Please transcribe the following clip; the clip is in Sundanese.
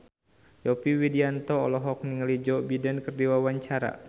Yovie Widianto olohok ningali Joe Biden keur diwawancara